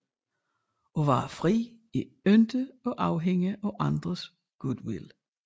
At være fri er ikke at afhænge af andres goodwill